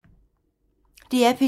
DR P2